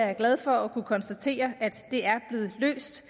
er glad for at kunne konstatere at det er blevet løst